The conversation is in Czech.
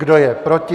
Kdo je proti?